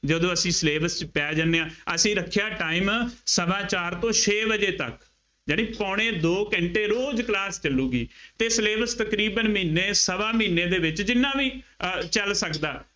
ਜਦੋਂ ਅਸੀਂ syllabus ਚ ਪੈ ਜਾਂਦੇ ਹਾਂ, ਅਸੀਂ ਰੱਖਿਆ time ਸਵਾ ਚਾਰ ਤੋਂ ਛੇ ਵਜੇ ਤੱਕ, ਯਾਨੀ ਪੌਣੇ ਦੋ ਘੰਟੇ ਰੋਜ਼ class ਚੱਲੂਗੀ ਅਤੇ syllabus ਤਕਰੀਬਨ ਮਹੀਨੇ, ਸਵਾ ਮਹੀਨੇ ਦੇ ਵਿੱਚ ਜਿੰਨਾ ਵੀ ਅਹ ਚੱਲ ਸਕਦਾ,